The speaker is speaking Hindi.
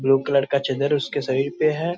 ब्लू कलर का चदर उसके शरीर पे है।